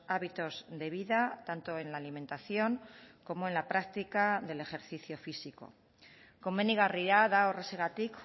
hábitos de vida tanto en la alimentación como en la práctica del ejercicio físico komenigarria da horrexegatik